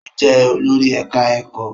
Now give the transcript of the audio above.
Ó jẹ́ olórí ẹ̀ká ẹ̀kọ́